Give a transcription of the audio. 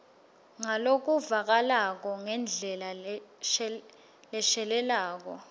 ngalokuvakalako ngendlela leshelela